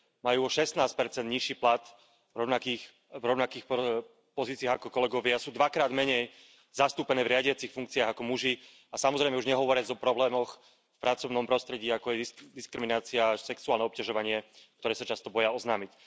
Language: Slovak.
Majú o 16 nižší plat v rovnakých pozíciách ako kolegovia, sú dvakrát menej zastúpené v riadiacich funkciách ako muži a samozrejme už nehovoriac o problémoch v pracovnom prostredí, ako je diskriminácia, sexuálne obťažovanie, ktoré sa často boja oznámiť.